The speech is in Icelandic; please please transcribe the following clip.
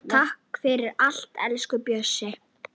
Takk fyrir allt, elsku Bjössi.